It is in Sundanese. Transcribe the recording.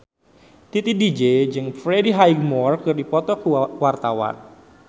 Titi DJ jeung Freddie Highmore keur dipoto ku wartawan